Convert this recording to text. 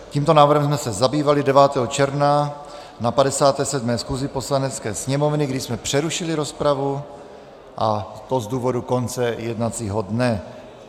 Tímto návrhem jsme se zabývali 9. června na 57. schůzi Poslanecké sněmovny, kdy jsme přerušili rozpravu, a to z důvodu konce jednacího dne.